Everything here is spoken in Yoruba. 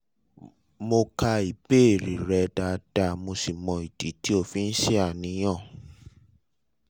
mo ka ìbéèrè rẹ dáadáa mo sì mọ ìdí tí o fi ń ṣàníyàn